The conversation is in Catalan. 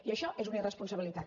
i això és una irresponsabilitat